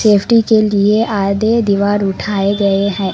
Safety के लिए आधे दीवार उठाये गये है।